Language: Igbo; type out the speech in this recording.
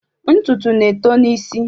Ntutu na-eto n'isi.